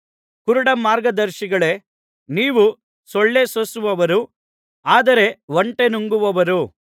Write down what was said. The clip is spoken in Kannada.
ಕುರುಡ ಮಾರ್ಗದರ್ಶಿಗಳೇ ನೀವು ಸೊಳ್ಳೇ ಸೋಸುವವರು ಆದರೆ ಒಂಟೆ ನುಂಗುವವರು